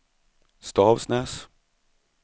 Stavsnäs